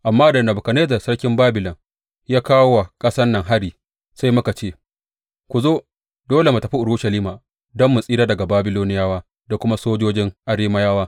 Amma da Nebukadnezzar sarkin Babilon ya kawo wa ƙasan nan hari, sai muka ce, Ku zo, dole mu tafi Urushalima don mu tsira daga Babiloniyawa da kuma sojojin Arameyawa.’